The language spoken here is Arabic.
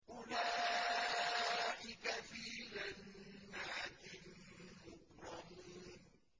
أُولَٰئِكَ فِي جَنَّاتٍ مُّكْرَمُونَ